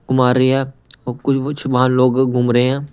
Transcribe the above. घुमा रही है और कुछ कुछ वहां लोग घूम रहे हैं।